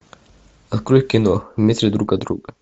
открой кино в метре друг от друга